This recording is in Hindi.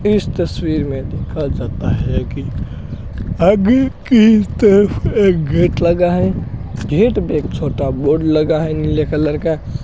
इस तस्वीर में देखा जाता है की आगे की तरफ एक गेट लगा है गेट पे एक छोटा बोर्ड लगा है नीले कलर का।